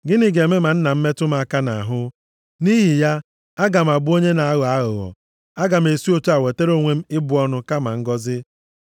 Gịnị ga-eme ma nna m metụ m aka nʼahụ? Nʼihi ya, aga m abụ onye na-aghọ ya aghụghọ, aga m esi otu a wetara onwe m ịbụ ọnụ kama ngọzị.”